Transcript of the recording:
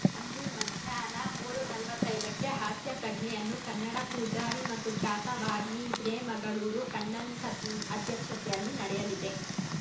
ಅಂದು ಮಧ್ಯಾಹ್ನ ಮೂರು ನಲವತ್ತೈದಕ್ಕೆ ಹಾಸ್ಯ ಪ್ರಜ್ಞೆಯನ್ನು ಕನ್ನಡ ಪೂಜಾರಿ ಮತ್ತು ಖ್ಯಾತ ವಾಗ್ಮಿ ಹಿರೇಮಗಳೂರು ಕಣ್ಣನ್‌ ಅಧ್ಯಕ್ಷತೆಯಲ್ಲಿ ನಡೆಯಲಿದೆ